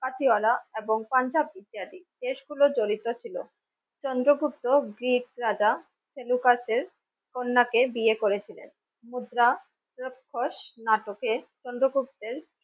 Chandragupta Greek রাজা সেলুকাসের কন্যাকে বিয়ে করেছিলেন মুদ্রা রাক্ষস নাটকে চন্দ্রগুপ্ত।